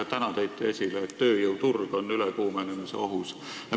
Täna tõite esile, et tööjõuturg on ülekuumenemisohus.